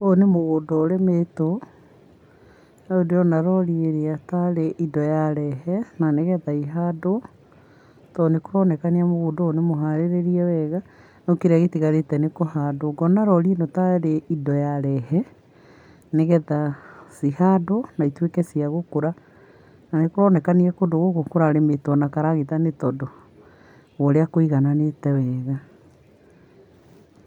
Ũyũ nĩ mũgũnda ũrĩmĩtwo. Rĩu ndĩrona rori ĩrĩa tarĩ indo yarehe na nĩgetha ihandwo, to nĩ kũronekania mũgũnda ũyũ nĩ mũharĩrĩrie wega no kĩrĩa gĩtigarĩte nĩ kũhandwo. Ngona rori ĩno tarĩ indo yarehe, nĩgetha cihandwo na ituĩke cia gũkũra. Na nĩ kũronekania kũndũ gũkũ kũrarĩmĩtwo na karagita nĩ tondũ wa ũrĩa kũigananĩte wega.